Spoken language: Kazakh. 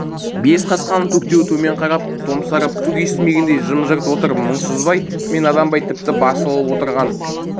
бес қасқаның төртеуі төмен қарап томсарып түк естімегендей жым-жырт отыр мұңсызбай мен наданбай тіпті басылып отырған